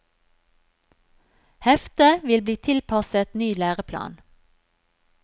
Heftet vil bli tilpasset ny læreplan.